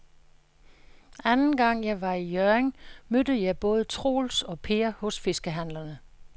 Anden gang jeg var i Hjørring, mødte jeg både Troels og Per hos fiskehandlerne.